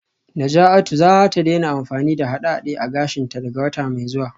Najatu za ta daina amfani da haɗe-haɗe a gashinta daga wata mai zuwa